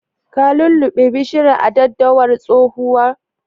Ka lulluɓe bishiyar daddawar tsohuwan?